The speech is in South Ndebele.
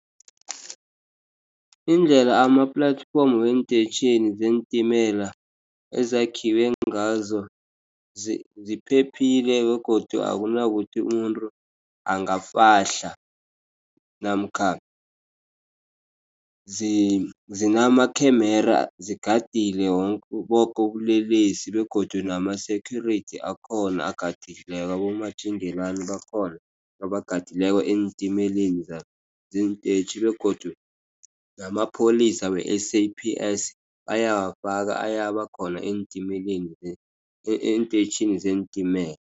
Indlela ama-platform weentetjhini zeentimela ezakhiwe ngazo ziphephile begodu akunakuthi umuntu angafahla. Namkha zinamakhemera zigadile boke ubulelesi. Begodu nama-security akhona agadileko. Abomatjingelani bakhona abagadileko eentimeleni zeentetjhi. Begodu namapholisa we-S_A_P_S bayawafaka, ayabakhona eentimeleni, eentetjhini zeentimela.